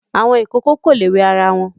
Àwọn ìkòkò kò le wẹ ara wọn.